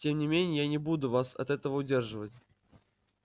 тем не менее я не буду вас от этого удерживать